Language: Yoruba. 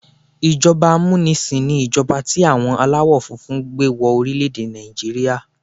Ìjọba amúnisìn ni ìjọba tí àwọn aláwọ̀ funfun gbé wọ orílẹ̀-èdè Nàìjíríà.